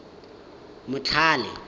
motlhale